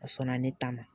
A sɔnna ne ta ma